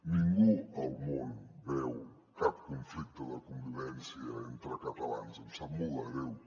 ningú al món veu cap con·flicte de convivència entre catalans em sap molt de greu